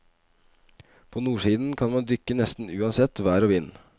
På nordsiden kan man dykke nesten uansett vær og vind.